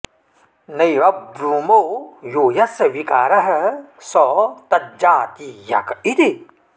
नैव ब्रूमो यो यस्य विकारः स तज्जातीयक इति